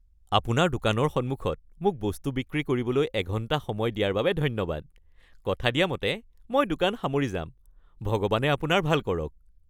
আপোনাৰ দোকানৰ সন্মুখত মোক বস্তু বিক্ৰী কৰিবলৈ এঘণ্টা সময় দিয়াৰ বাবে ধন্যবাদ। কথা দিয়া মতে মই দোকান সামৰি যাম, ভগৱানে আপোনাৰ ভাল কৰক। (বিক্ৰেতা)